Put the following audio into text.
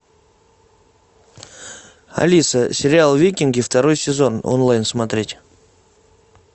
алиса сериал викинги второй сезон онлайн смотреть